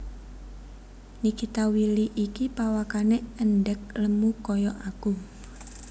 Nikita Willy iki pawakane endhek lemu koyok aku